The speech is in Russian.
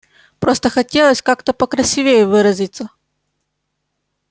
просто хотелось как-то покрасивее выразиться